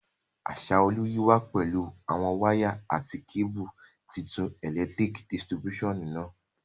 Asaolu yi wa pẹ̀lu àwon wire àti cable tuntun electric distribution náà